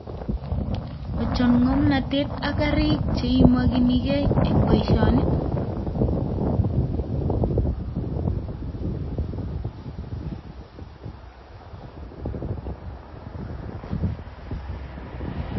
Ochon ng'omnotet ak karik cheimokinigei en boisioni?